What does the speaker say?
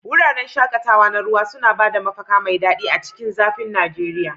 Wuraren shaƙatawa na ruwa suna ba da mafaka mai daɗi a cikin zafin Najeriya.